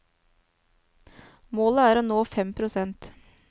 Målet er å nå fem prosent.